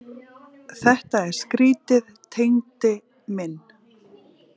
Þetta er skrýtið Tengdi minn.